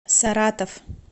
саратов